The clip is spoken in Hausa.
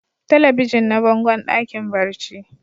Telebijin na bangon dakin barci.